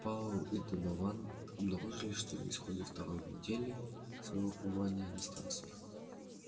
пауэлл и донован обнаружили что на исходе второй недели своего пребывания на станции